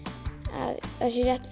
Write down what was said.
að það sé rétt